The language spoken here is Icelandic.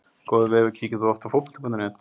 Góður vefur Kíkir þú oft á Fótbolti.net?